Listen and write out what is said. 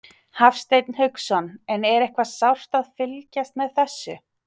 Hafsteinn Hauksson: En er eitthvað sárt að fylgjast með þessu?